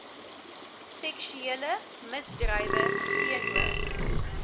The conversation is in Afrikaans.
seksuele misdrywe teenoor